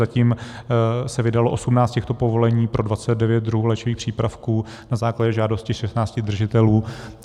Zatím se vydalo 18 těchto povolení pro 29 druhů léčivých přípravků na základě žádosti 16 držitelů.